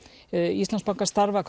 Íslandsbanka starfa